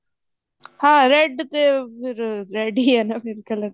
ਹਾਂ red ਤੇ ਫ਼ੇਰ red ਹੀ ਆ ਨਾ color